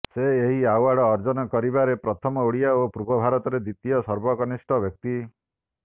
ସେ ଏହି ଆୱାର୍ଡ ଅର୍ଜନ କରିବାରେ ପ୍ରଥମ ଓଡିଆ ଓ ପୂର୍ବ ଭାରତରେ ଦ୍ୱିତୀୟ ସର୍ବକନିଷ୍ଠ ବ୍ୟକ୍ତି